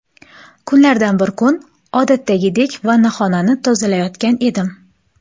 Kunlardan bir kun odatdagidek vannaxonani tozalayotgan edim.